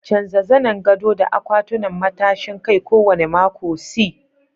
Canja zanen gado da akwatunan matashin kai kowane mako.c